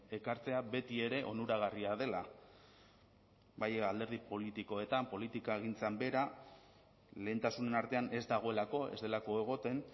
ekartzea betiere onuragarria dela bai alderdi politikoetan politikagintzan behera lehentasunen artean ez dagoelako ez delako egoten